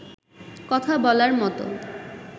কথা বলার মতো